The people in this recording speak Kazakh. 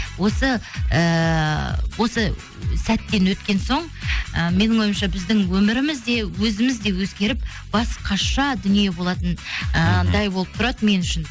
осы ыыы осы сәттен өткен соң ы менің ойымша біздің өміріміз де өзіміз де өзгеріп басқаша дүние болатын ыыы андай болып тұрады мен үшін